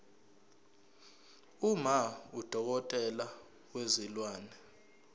uma udokotela wezilwane